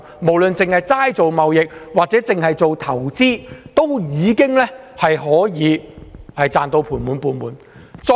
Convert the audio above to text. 不論是進行貿易或投資，都能賺到盤滿缽滿。